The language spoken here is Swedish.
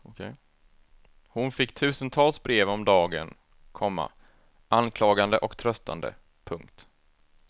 Hon fick tusentals brev om dagen, komma anklagande och tröstande. punkt